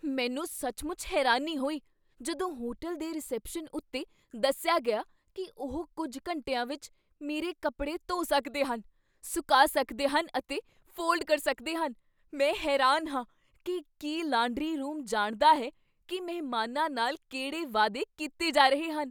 ਮੈਨੂੰ ਸੱਚਮੁੱਚ ਹੈਰਾਨੀ ਹੋਈ ਜਦੋਂ ਹੋਟਲ ਦੇ ਰਿਸੈਪਸ਼ਨ ਉੱਤੇ ਦੱਸਿਆ ਗਿਆ ਕੀ ਉਹ ਕੁੱਝ ਘੰਟਿਆਂ ਵਿੱਚ ਮੇਰੇ ਕੱਪੜੇ ਧੋ ਸਕਦੇ ਹਨ, ਸੁਕਾ ਸਕਦੇ ਹਨ ਅਤੇ ਫੋਲਡ ਕਰ ਸਕਦੇ ਹਨ। ਮੈਂ ਹੈਰਾਨ ਹਾਂ ਕੀ ਕੀ ਲਾਂਡਰੀ ਰੂਮ ਜਾਣਦਾ ਹੈ ਕੀ ਮਹਿਮਾਨਾਂ ਨਾਲ ਕਿਹੜੇ ਵਾਅਦੇ ਕੀਤੇ ਜਾ ਰਹੇ ਹਨ।